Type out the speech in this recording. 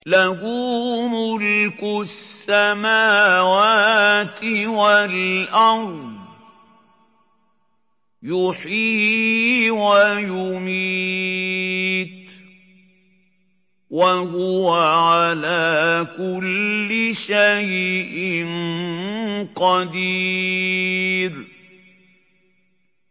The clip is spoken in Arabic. لَهُ مُلْكُ السَّمَاوَاتِ وَالْأَرْضِ ۖ يُحْيِي وَيُمِيتُ ۖ وَهُوَ عَلَىٰ كُلِّ شَيْءٍ قَدِيرٌ